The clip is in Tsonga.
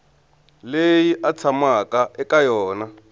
leyi a tshamaka eka yona